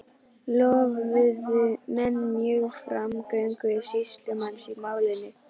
Lofuðu menn mjög framgöngu sýslumanns í málinu.